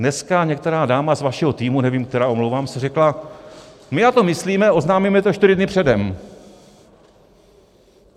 Dneska některá dáma z vašeho týmu, nevím která, omlouvám se, řekla, my na to myslíme, oznámíme to čtyři dny předem.